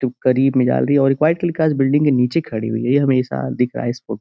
जो करीब में जा रही और वाइट कलर की कार बिल्डिंग के नीचे खड़ी हई है। ये हमेशा दिख रहा है इसको --